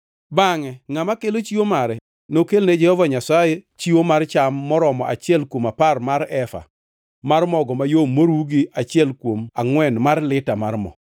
Bangʼe ngʼama kelo chiwo mare nokelne Jehova Nyasaye chiwo mar cham maromo achiel kuom apar mar efa mar mogo mayom moruw gi achiel kuom angʼwen mar lita mar mo.